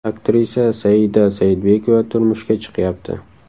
Aktrisa Saida Saidbekova turmushga chiqyapti.